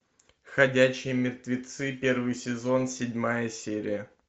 ходячие мертвецы первый сезон седьмая серия